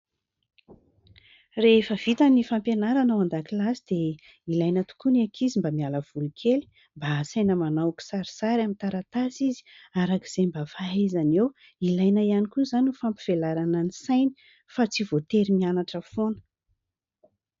Rehefa vita ny fampianarana ao an-dakilasy dia ilaina tokoa ny ankizy mba miala voly kely, mba asaina manao kisarisary amin'ny taratasy izy arak'izay mba fahaizany eo, ilaina ihany koa izany ny fampivelarana ny sainy fa tsy voatery mianatra foana.